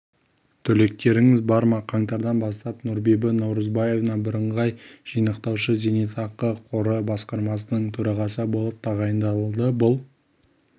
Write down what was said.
түлектеріңіз бар ма қаңтардан бастап нұрбибі наурызбаева бірыңғай жинақтаушы зейнетақы қоры басқармасының төрағасы болып тағайындалды бұл